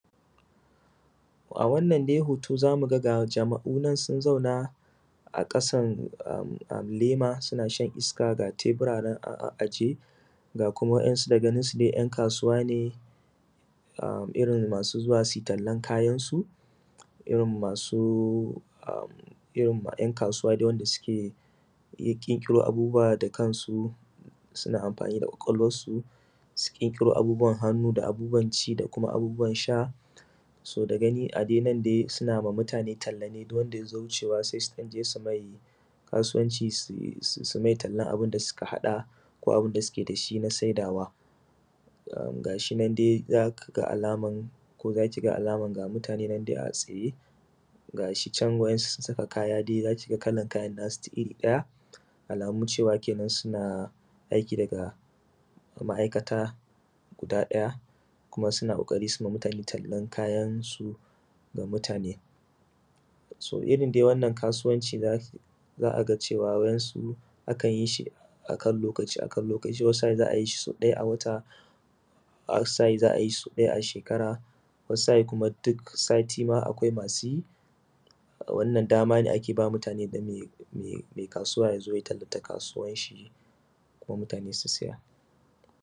A wannan dai hoto, za mu gani dai jama’u sun zauna a ƙasan lema, suna shan iska. Ga tebura nan a ajiye, ga kuma wasu, da ganinsu dai, ’yan kasuwa ne irin masu zuwa su yi tallan kayayakinsu. Irin ’yan kasuwa dai wanda suke iya ƙirƙiro abubuwa da kansu, suna amfani da ƙwaƙwalwansu, su ƙirƙiro abubuwan hannu, da abubuwan ci, da abubuwan sha. So da gani, a dai nan dai, suna ma mutane talla ne duk wanda ya zo wucewa, sai su je su ɗan mai kasuwanci, su yi; su yi mai tallan abin da suka haɗa, ko abin da suke da shi na sayarwa. Ga shi nan dai za ka ga alaman, ko za ki ga alaman ga mutane nan da yawa a tsaye; ga shi can, wa’insu sun saka kaya dai za ki ga kalan kayansu duk iri ɗaya. Alamu cewa kenan dai suna aiki daga mai’aikata guda ɗaya, kuma suna ƙoƙari su yi ma mutane tallan kayansu. Irindai wannan kasuwanci, da za a ga cewa wa’insu a kan yi, su a kan lokaci, a kan lokaci, a kan lokaci. Wata sa’in za a yi shi sau ɗaya a wata; wata sa’in za a yi shi sau ɗaya a shekara; wata sa’in ma, duk sati akwai masu yi.